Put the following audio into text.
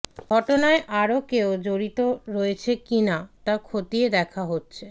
ঘটনায় আরও কেউ জড়িত রয়েছে কি না তা খতিয়ে দেখা হচ্ছে